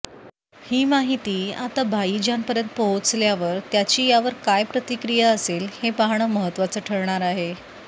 ही माहिती आता भाईजानपर्यंत पोहोचल्यावर त्याची यावर काय प्रतिक्रिया असेल हे पाहणं महत्त्वाचं ठरणार आहे